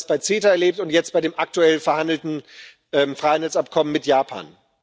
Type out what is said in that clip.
Wir haben das beim CETA erlebt und jetzt bei dem aktuell verhandelten Freihandelsabkommen mit Japan.